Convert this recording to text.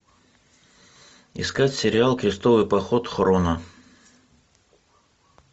искать сериал крестовый поход хроно